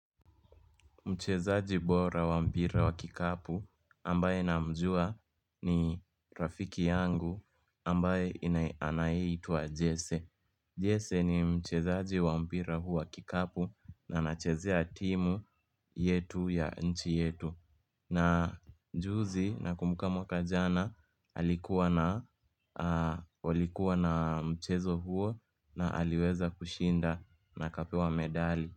Mchezaji bora wa mpira wa kikapu ambaye na mjua ni rafiki yangu ambaye anayi ituwa jese. Jese ni mchezaji wa mpira huu wa kikapu na anachezea timu yetu ya nchi yetu. Na juzi na kumbuka mwaka jana alikuwa na mchezo huo na aliweza kushinda na akapewa medali.